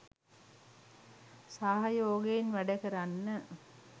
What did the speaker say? සහයෝගයෙන් වැඩකරන්න.